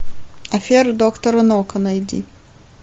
афера доктора нока найди